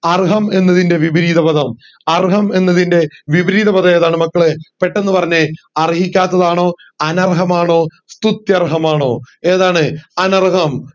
അർഹം എന്നതിന്റെ വിപരീത പദം അർഹം എന്നതിന്റെ വിപരീത പദം ഏതാണ് മക്കളെ പെട്ടന്ന് പറഞ്ഞെ അർഹിക്കാത്തത് ആണോ അനർഹം ആണോ സ്തുത്യർഹമാണോ ഏതാണ് അനർഹം